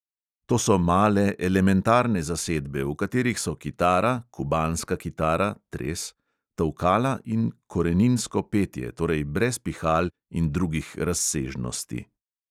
To so male, elementarne zasedbe, v katerih so kitara, kubanska kitara tolkala in koreninsko petje, torej brez pihal in drugih razsežnosti.